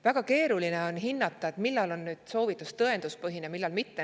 Väga keeruline on hinnata, millal on soovitus tõenduspõhine ja millal mitte.